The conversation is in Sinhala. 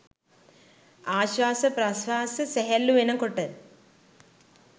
ආශ්වාස ප්‍රශ්වාස සැහැල්ලු වෙන කොට